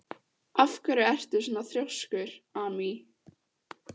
Af hverju ertu svona þrjóskur, Amý?